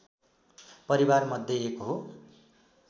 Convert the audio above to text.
परिवारमध्ये एक हो